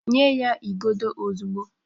Nye ya igodo ozugbo